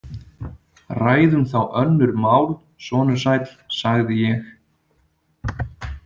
Ræðum þá önnur mál, sonur sæll, sagði ég.